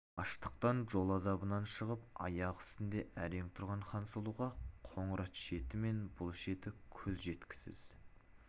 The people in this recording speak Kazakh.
аштықтан жол азабынан шығып аяқ үстінде әрең тұрған хансұлуға қоңырат шеті мен бұл шеті көз жеткісіз